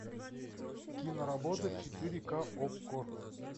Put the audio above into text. киноработа четыре ка окко